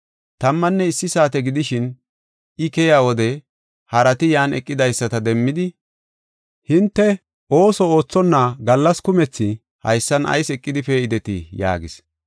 Tammanne issi saate gidishin I keyiya wode harati yan eqidaysata demmidi, ‘Hinte ooso oothonna gallas kumethi haysan ayis eqidi pee7idetii?’ yaagis.